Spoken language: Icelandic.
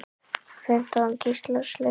Fimmtán gíslar sluppu lifandi.